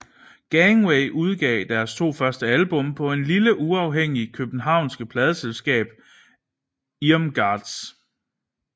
Gangway udgav deres to første album på det lille uafhængige københavnske pladeselskab Irmgardz